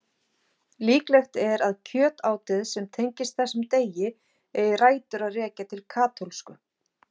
Líklegt er að kjötátið sem tengist þessum degi eigi rætur að rekja til katólsku.